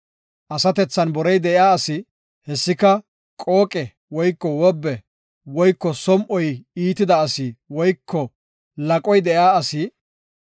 Asatethan borey de7iya asi, hessika qooqe woyko wobbe woyko som7oy iitida asi woyko laqoy de7iya asi,